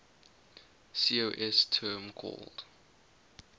cos term called